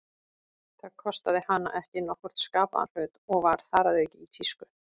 Það kostaði hana ekki nokkurn skapaðan hlut, og var þar að auki í tísku.